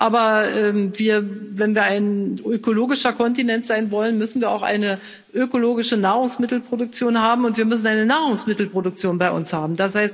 Aber wenn wir ein ökologischer Kontinent sein wollen, müssen wir auch eine ökologische Nahrungsmittelproduktion haben, und wir müssen eine Nahrungsmittelproduktion bei uns haben.